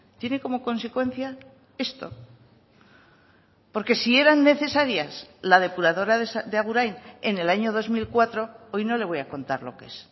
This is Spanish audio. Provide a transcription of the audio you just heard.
tiene como consecuencia esto porque si eran necesarias la depuradora de agurain en el año dos mil cuatro hoy no le voy a contar lo que es